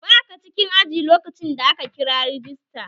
Baka cikin aji lokacin da aka kira rajista